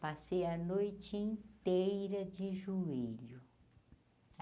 Passei a noite inteira de joelho.